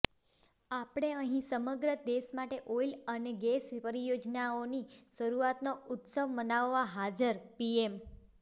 આપણે અહીં સમગ્ર દેશ માટે ઓઇલ અને ગેસ પરિયોજનાઓની શરૂઆતનો ઉત્સવ મનાવવા હાજરઃ પીએમ